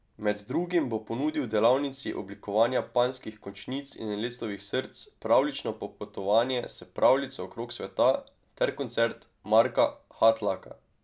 Med drugim bo ponudil delavnici oblikovanja panjskih končnic in lectovih src, pravljično popotovanje S pravljico okrog sveta ter koncert Marka Hatlaka.